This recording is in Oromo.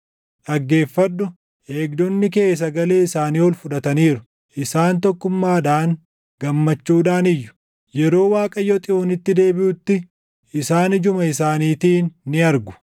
Dhaggeeffadhu! Eegdonni kee sagalee isaanii ol fudhataniiru; isaan tokkummaadhaan gammachuudhaan iyyu. Yeroo Waaqayyo Xiyoonitti deebiʼutti, isaan ijuma isaaniitiin ni argu.